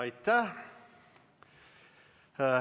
Aitäh!